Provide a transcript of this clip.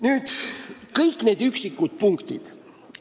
Nüüd nendest üksikutest punktidest.